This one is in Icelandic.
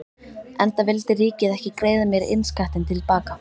Enda vildi ríkið ekki greiða mér innskattinn til baka.